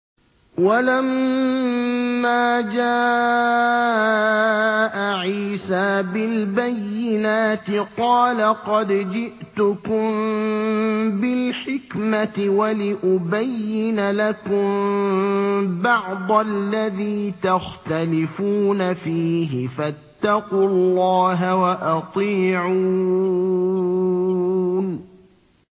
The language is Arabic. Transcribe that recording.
وَلَمَّا جَاءَ عِيسَىٰ بِالْبَيِّنَاتِ قَالَ قَدْ جِئْتُكُم بِالْحِكْمَةِ وَلِأُبَيِّنَ لَكُم بَعْضَ الَّذِي تَخْتَلِفُونَ فِيهِ ۖ فَاتَّقُوا اللَّهَ وَأَطِيعُونِ